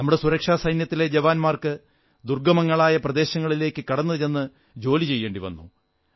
നമ്മുടെ സുരക്ഷാസൈന്യത്തിലെ ജവാന്മാർക്ക് ദുർഗ്ഗമങ്ങളായ പ്രദേശങ്ങളിലേക്കു കടന്നുചെന്ന് ജോലി ചെയ്യേണ്ടി വരുന്നു